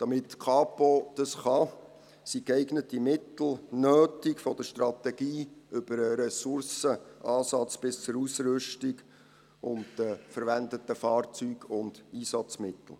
Damit die Kapo das kann, sind geeignete Mittel nötig, von der Strategie über den Ressourceneinsatz bis hin zur Ausrüstung, den verwendeten Fahrzeugen und Einsatzmitteln.